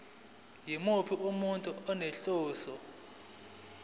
yimuphi umuntu onenhloso